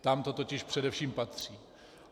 Tam to totiž především patří.